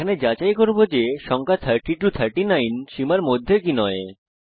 এখানে আমরা যাচাই করি যে সংখ্যা 30 39 সীমার মধ্যে কি নয়